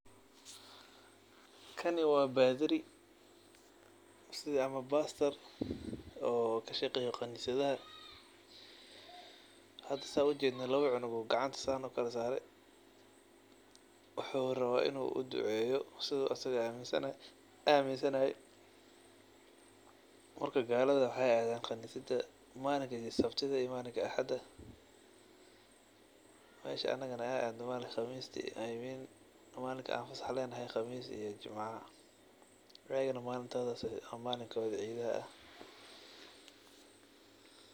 Kani wa badhari siida ad ujedid wuxu kashqeya kanisadaha oo lawo cunug ayu gacmaha kasare, wuxu rawa in uu uduceyo sida uu asaga aminsanahay marka galada wexey adan kanisada malinka sabtida iyo axada meesha anaga an adno malinka i mean malinka an fasaxa lenoho ee qamista iyo jimcaha iyagana malintas cidoda ah.